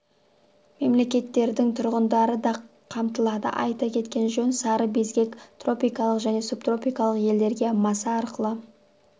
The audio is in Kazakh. мемлекеттердің тұрғындары да қамтылады айта кеткен жөн сары безгек тропикалық және субтропикалық елдерде маса арқылы